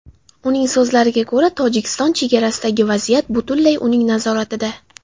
Uning so‘zlariga ko‘ra, Tojikiston chegarasidagi vaziyat butunlay uning nazoratida.